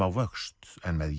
á vöxt en með